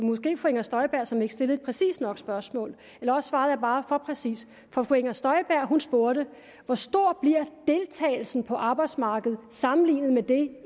inger støjberg som ikke stillede et præcist nok spørgsmål eller også svarede jeg bare for præcist for fru inger støjberg spurgte hvor stor bliver deltagelsen på arbejdsmarkedet sammenlignet med det